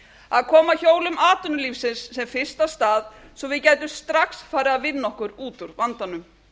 að koma hjólum atvinnulífsins sem fyrst af stað svo við gætum strax farið að vinna okkur út úr vandanum